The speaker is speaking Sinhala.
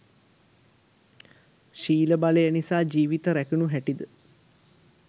ශීල බලය නිසා ජීවිත රැකුණු හැටිද,